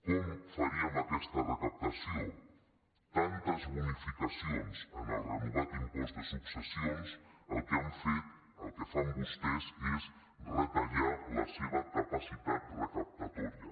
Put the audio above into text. com faríem aquesta recaptació tantes bonificacions en el renovat impost de successions el que han fet el que fan vostès és retallar la seva capacitat recaptatòria